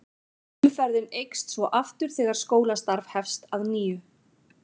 Umferðin eykst svo aftur þegar skólastarf hefst að nýju.